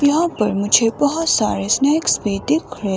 यहां पर मुझे बहुत सारे स्नेक्स भी दिख रहे--